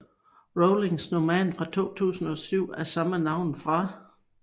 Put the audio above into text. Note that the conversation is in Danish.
Rowlings roman fra 2007 af samme navn fra